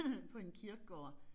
På en kirkegård